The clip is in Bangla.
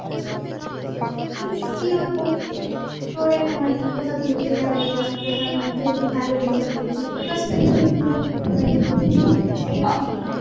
উম কীভাবে তোর একটা মানে কোথাও ঘুরতে যাবি বা কোথাও মানে তুইও খুব ভালো dress up পরেছিস just একটা video বানিয়ে করবি, just এইটুকুনি আরকী।